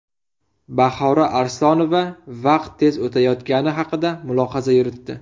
Bahora Arslonova vaqt tez o‘tayotgani haqida mulohaza yuritdi.